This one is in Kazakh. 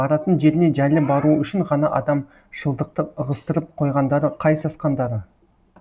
баратын жеріне жайлы баруы үшін ғана адамшылдықты ығыстырып қойғандары қай сасқандары